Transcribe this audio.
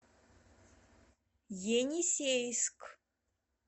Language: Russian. енисейск